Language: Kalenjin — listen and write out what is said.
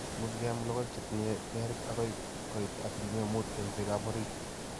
muuchi keyaam logoek che tinyei berik agoi koit asilimia muut eng' peekap orit